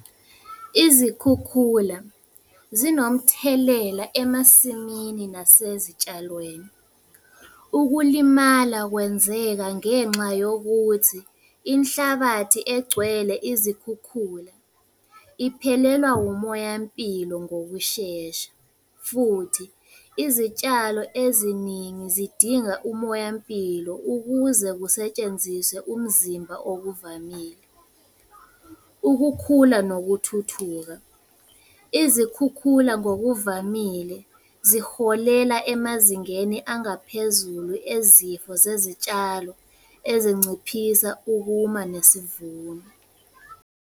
Izikhukhula zinomthelela emasimini nasezitshalweni. Ukulimala kwenzeka ngenxa yokuthi inhlabathi egcwele izikhukhula iphelelwa wumoya mpilo ngokushesha, futhi izitshalo eziningi zidinga umoya mpilo ukuze kusetshenziswe umzimba okuvamile. Ukukhula nokuthuthuka, izikhukhula ngokuvamile ziholela emazingeni angaphezulu ezifo zezitshalo ezinciphisa ukuma nesivuno.